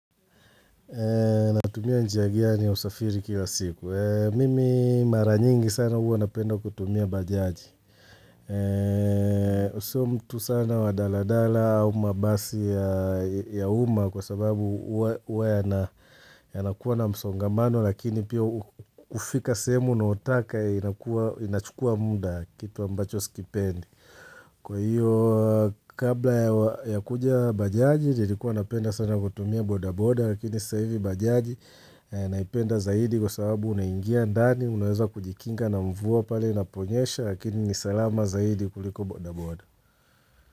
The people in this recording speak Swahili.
Natumia njia gani ya usafiri kila siku. Mimi mara nyingi sana huwa napenda kutumia bajaji. Sio mtu sana wa daladala au mabasi ya uma kwa sababu huwa yanakuwa na msongamano lakini pio hufika sehemu unayotaka inachukua muda kitu ambacho sikipendi. Kwa hiyo kabla ya kuja bajaji nilikuwa napenda sana kutumia bodaboda Lakini sasa hivi bajaji naipenda zaidi Kwa sababu unaingia ndani Unaweza kujikinga na mvua pale inaponyesha Lakini ni salama zaidi kuliko bodaboda.